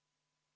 Aitäh!